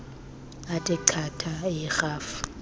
ethe chatha eyirhafu